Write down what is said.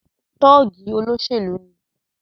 Tọ́ọ̀gì olóṣèlú ni.